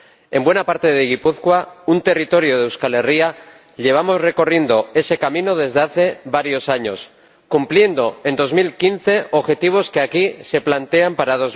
En buena parte de Gipuzkoa, un territorio de Euskal Herria, llevamos recorriendo ese camino desde hace varios años, y hemos cumplido, en 2015, objetivos que aquí se plantean para